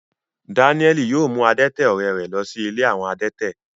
Dáníẹ́lì yóò mú adẹ́tẹ̀ ọ̀rẹ́ rẹ̀ lọ sí ilé àwọn adẹ́tẹ̀